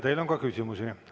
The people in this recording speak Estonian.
Teile on ka küsimusi.